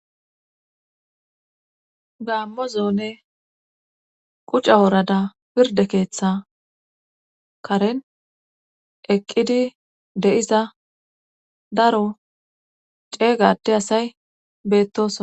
Gaammozonne qucca woorada pirde keeththa karen eqqidi de7iza daro ceeygade asay beettosona.